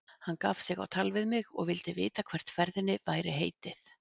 Hann gaf sig á tal við mig og vildi vita hvert ferðinni væri heitið.